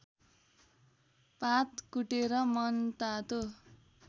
पात कुटेर मनतातो